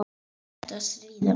Eða ertu að stríða mér?